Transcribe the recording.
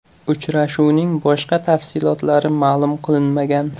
Uchrashuvning boshqa tafsilotlari ma’lum qilinmagan.